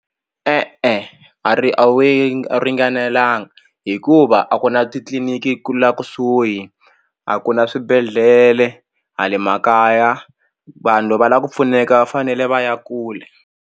E-e a ri a ringanelanga hikuva a ku na titliliniki ku la kusuhi a ku na swibedhlele hale makaya vanhu loko va la ku pfuneka va fanele va ya kule.